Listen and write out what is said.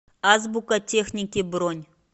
азбука техники бронь